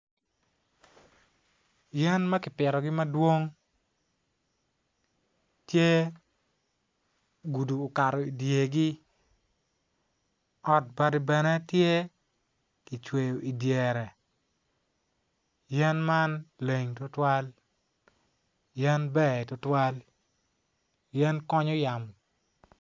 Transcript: Yen ma kipitogi madwong tye gudi okato idyergi ot bati bene tye kicweyo idyere yen man leng tutwal yen ber tutwal yen konyo yamo.